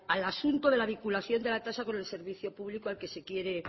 al asunto de la vinculación de la tasa con el servicio público al que se quiere